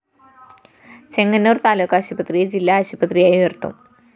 ചെങ്ങന്നൂര്‍ താലൂക്ക് ആശുപത്രിയെ ജില്ലാ ആശുപത്രിയായി ഉയര്‍ത്തും